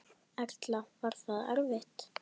Erla: Var það erfitt?